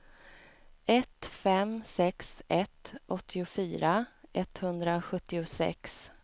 ett fem sex ett åttiofyra etthundrasjuttiosex